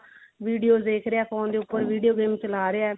videos ਦੇਖ ਰਿਹਾ phone ਦੇ ਉਪਰ video game ਚਲਾ ਰਿਹਾ